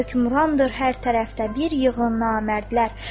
Hökmrandır hər tərəfdə bir yığın namərdlər.